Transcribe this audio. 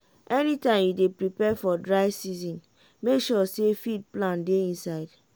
anytime you dey prepare for dry season make sure say feed plan dey inside.